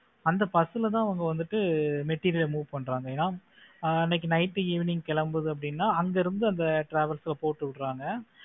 அந்த bus ல தான் அவங்க வந்துட்டு material ல move பண்றாங்கல்லையா அன்னைக்கு night evening கிளம்புது அப்படின்னா அங்க இருந்து அந்த travels ல போட்டு விடுறாங்க